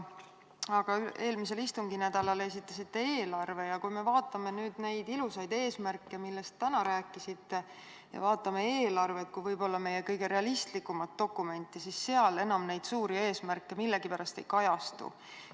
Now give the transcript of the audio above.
Aga eelmisel istunginädalal esitasite eelarve ja kui me vaatame nüüd neid ilusaid eesmärke, millest te täna rääkisite, ja vaatame eelarvet kui võib-olla meie kõige realistlikumat dokumenti, siis seal need suured eesmärgid millegipärast ei kajastu.